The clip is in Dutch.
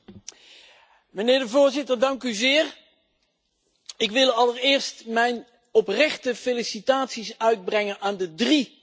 Voorzitter, ik wil allereerst mijn oprechte felicitaties uitbrengen aan de drie commissarissen.